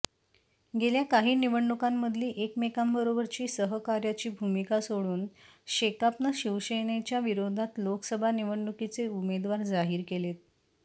गेल्या काही निवडणुकांमधली एकमेंकांबरोबरची सहकार्याची भूमिका सोडून शेकापनं शिवसेनेच्या विरोधात लोकसभा निवडणुकीचे उमेदवार जाहीर केलेत